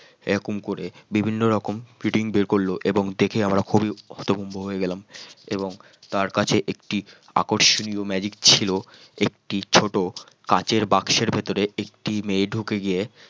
এই রকম করে বিভিন্ন রকম ফিটিং বের করলো এবং দেখে খুবই হতভম্ব হয়ে গেলাম এবং তার কাছে একটি আকর্ষণীয় magic ছিল একটি ছোট কাঁচের বাক্সের ভিতরে একটি মেয়ে ঢুকে গিয়ে